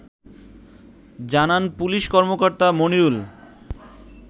জানান পুলিশ কর্মকর্তা মনিরুল